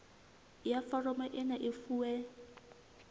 ya foromo ena e fuwe